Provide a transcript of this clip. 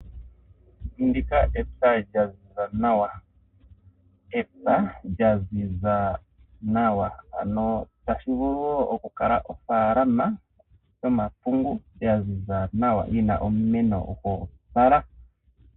Ndika epya dhaziza nawa. Epya lyaziza nawa ano tashivulu woo okukala ofaalama yomapungu yaziza nawa, yina omimeno ga opala.